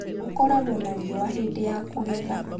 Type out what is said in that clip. gũkoragwo na riũa Hĩndĩ ya kũgetha .